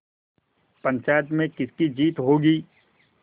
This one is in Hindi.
पंचायत में किसकी जीत होगी